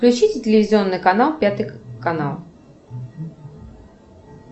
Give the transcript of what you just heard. включите телевизионный канал пятый канал